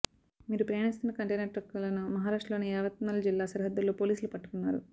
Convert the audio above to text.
వీరు ప్రయాణిస్తున్న కంటైనర్ ట్రక్కులను మహారాష్ట్రలోని యావత్మల్ జిల్లా సరిహద్దుల్లో పోలీసులు పట్టుకున్నారు